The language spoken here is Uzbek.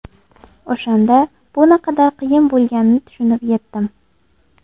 O‘shanda bu naqadar qiyin bo‘lganini tushunib yetdim.